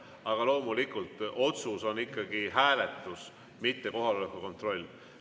Aga loomulikult, otsus on ikkagi hääletus, mitte kohaloleku kontroll.